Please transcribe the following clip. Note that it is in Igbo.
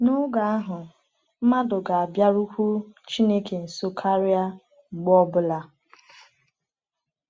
N’oge ahụ, mmadụ ga-abịarukwu Chineke nso karịa mgbe ọ bụla.